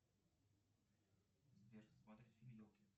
сбер смотреть фильм елки